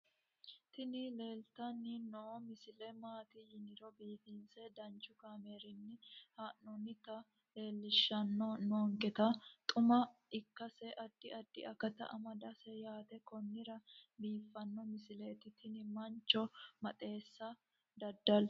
tini leeltanni noo misile maaati yiniro biifinse danchu kaamerinni haa'noonnita leellishshanni nonketi xuma ikkase addi addi akata amadaseeti yaate konnira biiffanno misileeti tini mancho maxaaxeessa dada'litannni no